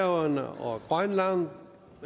og grønland